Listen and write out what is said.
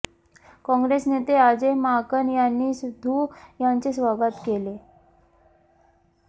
काँग्रेस नेते अजय माकन यांनी सिध्दू यांचे स्वागत केले